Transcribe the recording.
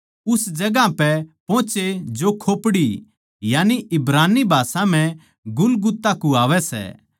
उस जगहां पै पोहचे जो खोपड़ी यानी इब्रानी भाषा म्ह गुलगुता कुह्वावै सै